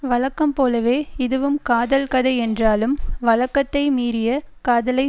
வழக்கம்போலவே இதுவும் காதல் கதை என்றாலும் வழக்கத்தை மீறிய காதலை